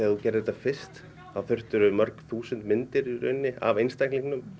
þú gerðir þetta fyrst þá þurftirðu mörg þúsund myndir af einstaklingnum